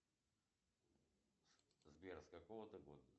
сбер с какого ты года